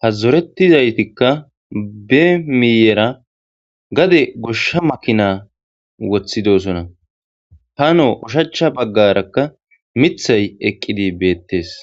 ha zoretizaytikkabe miiyera gade goshsha makina woththidosona hano ushacha baggarakka mithay eqqidi beettes.